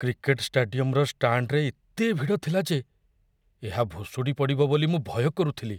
Cricket ଷ୍ଟାଡିୟମର ଷ୍ଟାଣ୍ଡରେ ଏତେ ଭିଡ଼ ଥିଲା ଯେ ଏହା ଭୁଶୁଡ଼ି ପଡ଼ିବ ବୋଲି ମୁଁ ଭୟ କରୁଥିଲି।